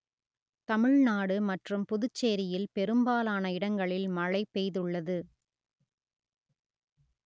தமிழ்நாடு மற்றும் புதுச்சேரியில் பெரும்பாலான இடங்களில் மழை பெய்துள்ளது